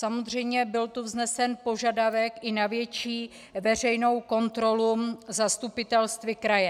Samozřejmě byl tu vznesen požadavek i na větší veřejnou kontrolu zastupitelstvy kraje.